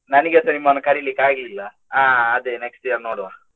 ನನಿಗೆಸ ನಿಮ್ಮನ್ನು ಕರೀಲಿಕ್ಕೆ ಆಗ್ಲಿಲ್ಲ ಅಹ್ ಅದೇ next year ನೋಡ್ವಾ.